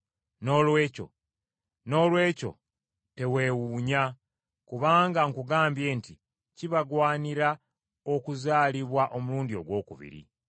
Noolwekyo teweewuunya kubanga nkugambye nti kibagwanira okuzaalibwa omulundi ogwokubiri.